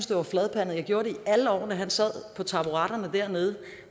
det var fladpandet det gjorde jeg alle årene han sad på taburetterne dernede